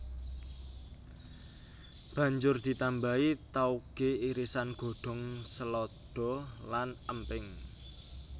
Banjur ditambahi taoge irisan godhong selada lan emping